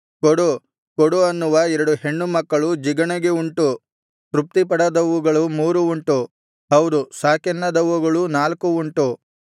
ಕೊಡು ಕೊಡು ಅನ್ನುವ ಎರಡು ಹೆಣ್ಣು ಮಕ್ಕಳು ಜಿಗಣೆಗೆ ಉಂಟು ತೃಪ್ತಿಪಡದವುಗಳು ಮೂರು ಉಂಟು ಹೌದು ಸಾಕೆನ್ನದವುಗಳು ನಾಲ್ಕು ಉಂಟು